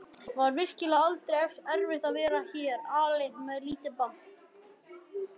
Var virkilega aldrei erfitt að vera hér alein með lítið barn?